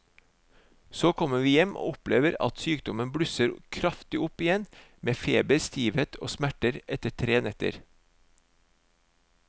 Så kommer vi hjem og opplever at sykdommen blusser kraftig opp igjen med feber, stivhet og smerter etter tre netter.